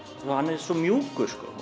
hann er svo mjúkur